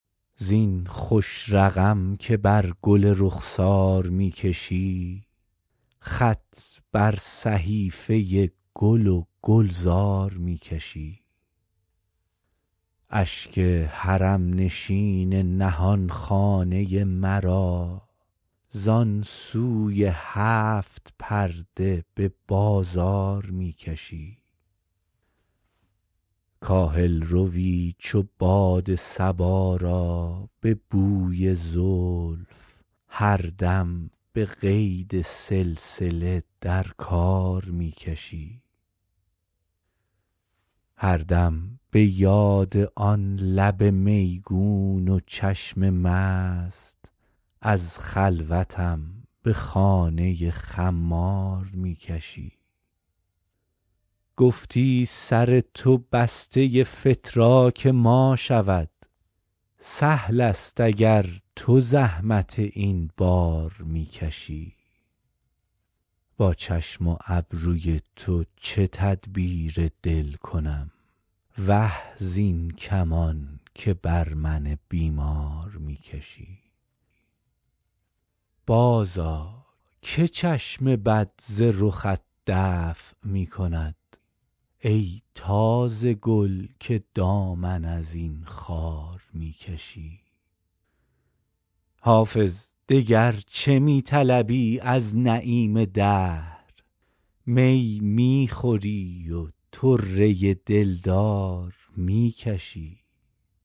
زین خوش رقم که بر گل رخسار می کشی خط بر صحیفه گل و گلزار می کشی اشک حرم نشین نهان خانه مرا زان سوی هفت پرده به بازار می کشی کاهل روی چو باد صبا را به بوی زلف هر دم به قید سلسله در کار می کشی هر دم به یاد آن لب میگون و چشم مست از خلوتم به خانه خمار می کشی گفتی سر تو بسته فتراک ما شود سهل است اگر تو زحمت این بار می کشی با چشم و ابروی تو چه تدبیر دل کنم وه زین کمان که بر من بیمار می کشی بازآ که چشم بد ز رخت دفع می کند ای تازه گل که دامن از این خار می کشی حافظ دگر چه می طلبی از نعیم دهر می می خوری و طره دلدار می کشی